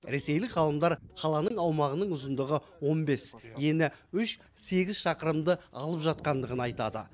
ресейлік ғалымдар қаланың аумағының ұзындығы он бес ені үш сегіз шақырымды алып жатқандығын айтады